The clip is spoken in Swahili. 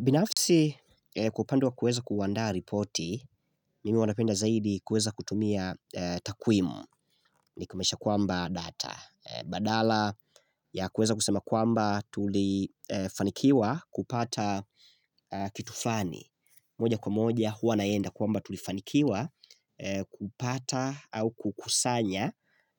Binafisi kwa upande wa kueza kuandaa ripoti, mimi hua napenda zaidi kueza kutumia takwimu ni kumaanisha kwamba data. Badala ya kueza kusema kwamba tulifanikiwa kupata kitu fulani. Moja kwa moja huwa naenda kwamba tulifanikiwa kupata au kukusanya